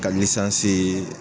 Ka lisansii